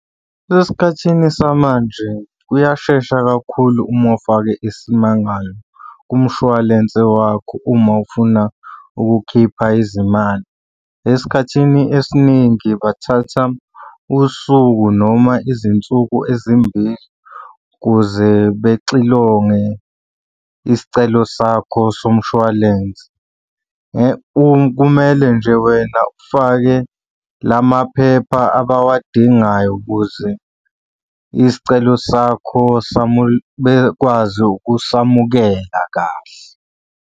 Esikhathini samanje kuyashesha kakhulu uma ufake isimangalo kumshwalense wakho uma ufuna ukukhipha izimali. Esikhathini esiningi bathatha usuku noma izinsuku ezimbili ukuze bexilonge isicelo sakho somshwalense. Kumele nje wena ufake la maphepha abawadingayo ukuze isicelo sakho bekwazi ukusamukela kahle.